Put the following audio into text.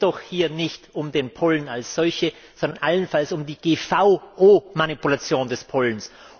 Es geht doch hier nicht um den Pollen als solchen, sondern allenfalls um die GVO Manipulation des Pollens.